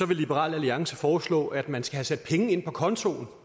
vil liberal alliance foreslå at man skal have sat penge ind på kontoen